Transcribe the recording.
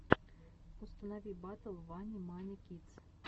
установи батл вани мани кидс